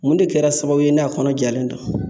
Mun de kɛra sababu ye n'a kɔnɔ jalen don